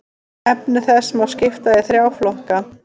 Efni þess má skipta í þrjá flokka.